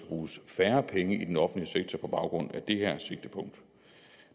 bruges færre penge i den offentlige sektor på baggrund af det her sigtepunkt